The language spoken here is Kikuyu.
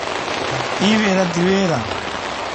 Ĩ wĩra ti wĩra?